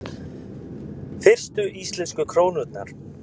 Fyrstu íslensku krónurnar: